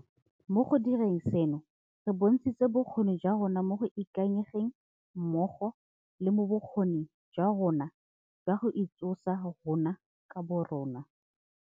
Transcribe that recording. Mo go direng seno, re bontshitse bokgoni jwa rona mo go ikanyegeng mmogo le mo bokgoning jwa rona jwa go itsosa rona ka borona.